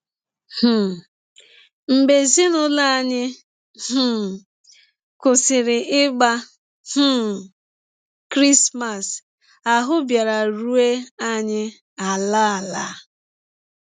um Mgbe ezinụlọ anyị um kwụsịrị ịgba um Krismas, ahụ́ bịara rụọ anyị ala! ala! ”